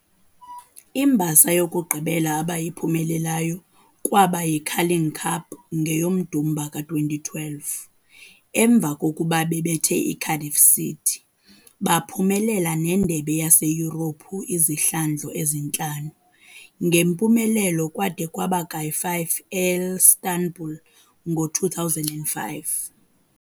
Imbasa yokugqibela abayiphumelelayo kwaba yi-Carling cup ngeyoMdumba ka-2012, emva kokuba bebethe iCardiff City. Baphumelela nendebe yaseYurophu izihlandlo ezintlanu, ngempumelelo kade kwaba ka-5 eIstanbul ngo 2005.